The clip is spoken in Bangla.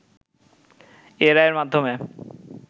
এ রায়ের মাধ্যমে